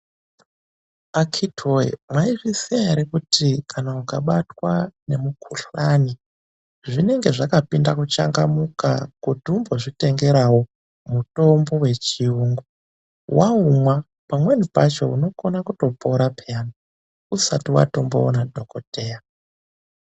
Akiti woyeee!!,mwaizviziya ere kuti kana ukabatwa nemukuhlani, zvinenge zvakapinda kuchangamuka kuti umbozvitengerawo mutombo wechiyungu. Waumwa pamweni pacho unokona kutopora peyani usati watomboona dhokodheya.